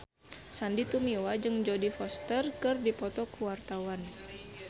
Sandy Tumiwa jeung Jodie Foster keur dipoto ku wartawan